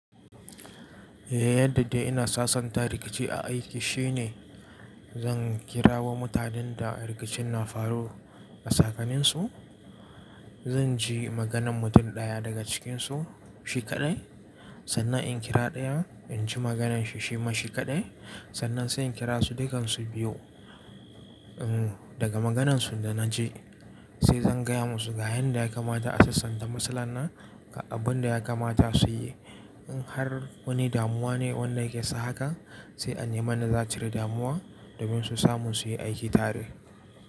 Eh yadda dai ina sasanta rikici a aiki shine zan kira wa mutanen da rikicin na faru a tsakaninsu. Zan ji maganan mutum ɗaya daga cikinsu shi kaɗai. Sannan in kira ɗaya in ji magananshi shi ma shi kaɗai. Sannan sai in kira su dukan su biyu. Umm daga maganansu da na ji sai zan gaya musu ga hanyar da ya kamata a sasanta matsalar nan abun da ya kamata su yi. In har wani damuwa ne wanda yake sa haka sai ane m yanda za'acire damuwa domin su samu su yi aiki tare.